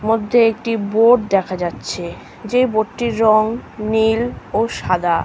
মধ্যে একটি বোট দেখা যাচ্ছে যে বোট -টির রং নীল ও সাদা ।